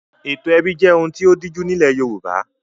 Ètò ẹbí jẹ́ ohun tí ó díjú nílẹ̀ Yorùbá.